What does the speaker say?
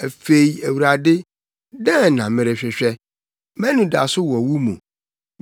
“Afei Awurade, dɛn na merehwehwɛ? Mʼanidaso wɔ wo mu.